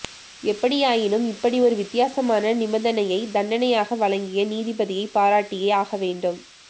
எப்படியாயினும் இப்படி ஒரு வித்யாசமான நிபந்தனையை தண்டனையாக வழங்கிய நீதிபதியைப் பாராட்டியே ஆகவேண்டும்